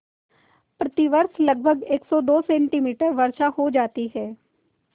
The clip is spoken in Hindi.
प्रतिवर्ष लगभग सेमी वर्षा हो जाती है